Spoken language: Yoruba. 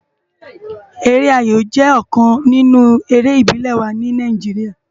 Ere áyó jè òkán ninú éré ibilé wá ni Náijiriá